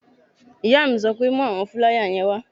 Ìyá mi sọ pé "mú àwọn fúláyà yẹn wá!"